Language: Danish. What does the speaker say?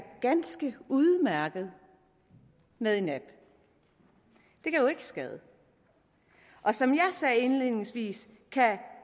ganske udmærket med en app det kan jo ikke skade og som jeg sagde indledningsvis kan